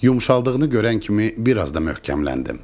Yumşaldığını görən kimi bir az da möhkəmləndim.